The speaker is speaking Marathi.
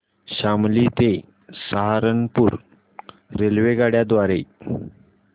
शामली ते सहारनपुर रेल्वेगाड्यां द्वारे